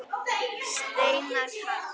Steinar Karl.